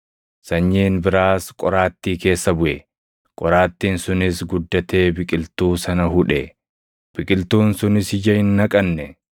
Sanyiin biraas qoraattii keessa buʼe; qoraattiin sunis guddatee biqiltuu sana hudhe; biqiltuun sunis ija hin naqanne.